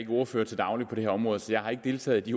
ikke ordfører til daglig på det her område så jeg har ikke deltaget i